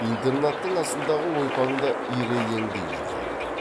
интернаттың астындағы ойпаңда ирелеңдей жұқарды